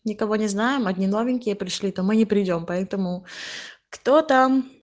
никого не знаем одни новенькие пришли то мы не придём поэтому кто там